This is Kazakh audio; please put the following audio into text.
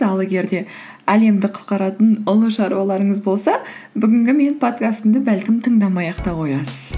ал егер де әлемді құтқаратын ұлы шаруаларыңыз болса бүгінгі менің подкастымды бәлкім тыңдамай ақ та қоясыз